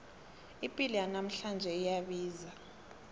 ipilo yanamhlanje iyabiza